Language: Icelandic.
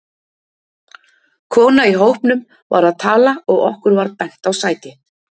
Kona í hópnum var að tala og okkur var bent á sæti.